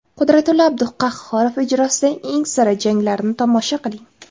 Qudratillo Abduqahhorov ijrosidagi eng sara janglarni tomosha qiling!